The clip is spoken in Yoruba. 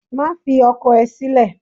Má fi ọkọ ẹ sílè!